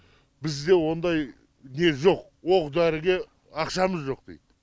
бізде ондай не жоқ оқ дәріге ақшамыз жоқ дейді